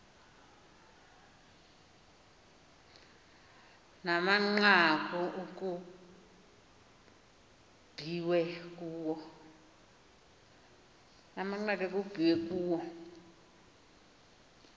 namanqaku ekukbiwe kuwo